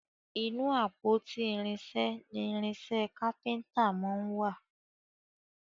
Ínú àpótí irinṣẹ ní irinṣẹ kápẹ́ńtà món wá.